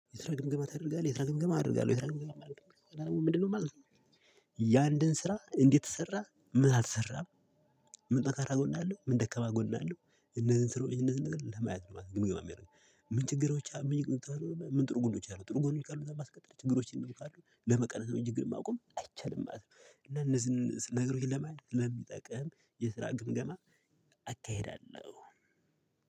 የስራ ግምገማ ታደርጋለህ የስራ ግምገማ አደርጋለሁ የስራ ግምገማ ምንድነው ማለት ነው። ያ አንድን ስራ እንዴት ተሰራ ምን አልሰራም። ምን ጠንካራ ጎን አለው ምን ደካማ ጎን አለው? እነዚህን እነዚህን ለማየት ነው? ምን ችግሮች ምን ጥሩ ጎኖች አሉ ጥሩ ጎኖች ካሉ ለማስቀጠል ችግሮችም ካሉ ለመቀነስ ችግር ማቆም አይቻልም ማለት ነው። እና እነዚህን ነግሮች ለማየት ስለሚጠቅም የስራ ግምገማ አካሄዳለሁ።